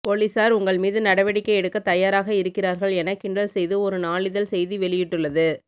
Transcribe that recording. போலீசார் உங்கள் மீது நடவடிக்கை எடுக்க தயாராக இருக்கிறார்கள் என கிண்டல் செய்து ஒரு நாளிதழ் செய்தி வெளியிட்டுள்ளது